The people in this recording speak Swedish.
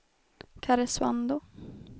Karesuando